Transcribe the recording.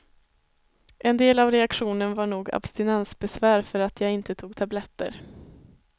En del av reaktionen var nog abstinensbesvär för att jag inte tog tabletter.